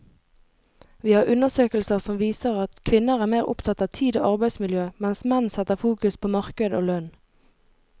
Vi har undersøkelser som viser at kvinner er mer opptatt av tid og arbeidsmiljø, mens menn setter fokus på marked og lønn.